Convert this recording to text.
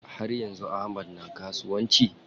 Har yanzu Ahmad na kasuwanci?